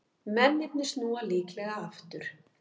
Mennirnir snúa líklega aftur